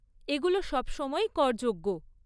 এগুলো সবসময়ই করযোগ্য।